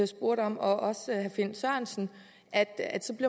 spurgte om og også herre finn sørensen at